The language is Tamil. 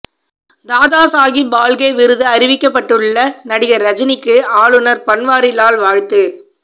தாதா சகோப் பால்கே விருது அறிவிக்கப்பட்டுள்ள நடிகர் ரஜினிக்கு ஆளுநர் பன்வாரிலால் வாழ்த்து